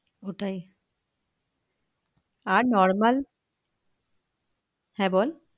ওটাই আর normal হ্যাঁ বল